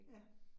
Ja